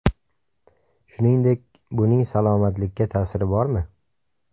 Shuningdek, buning salomatlikka ta’siri bormi?